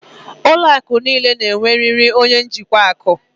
Ụlọ akụ niile ga-enwerịrị onye njikwa akụ.